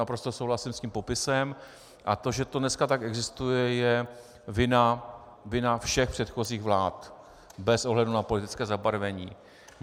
Naprosto souhlasím s tím popisem a to, že to dneska takto existuje, je vina všech předchozích vlád bez ohledu na politické zabarvení.